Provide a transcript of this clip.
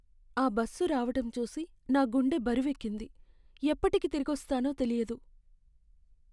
ఆ బస్సు రావటం చూసి, నా గుండె బరువెక్కింది.ఎప్పటికి తిరిగొస్తానో తెలియదు.